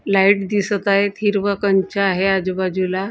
light दिसत आहेत हिरवं कंच आहेत आजूबाजूला ला--